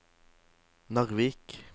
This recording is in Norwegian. Narvik